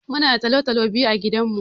Muna da tolo-tolo biyu a gidan mu.